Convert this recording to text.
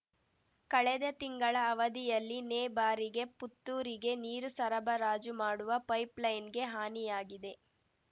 ಕಳೆದ ತಿಂಗಳ ಅವಧಿಯಲ್ಲಿ ನೇ ಬಾರಿಗೆ ಪುತ್ತೂರಿಗೆ ನೀರು ಸರಬರಾಜು ಮಾಡುವ ಪೈಪ್‌ಲೈನ್‌ಗೆ ಹಾನಿಯಾಗಿದೆ